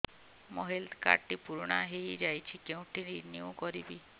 ମୋ health card ଟି ପୁରୁଣା ହେଇଯାଇଛି କେଉଁଠି ରିନିଉ କରିବି